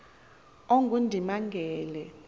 ongundimangele